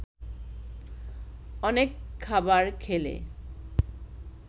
অনেক খাবার খেলে